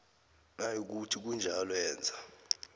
nayikuthi kunjalo yenza